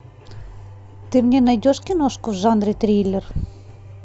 ты мне найдешь киношку в жанре триллер